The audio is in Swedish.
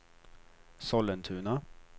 Sollentuna